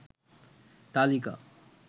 তালিকা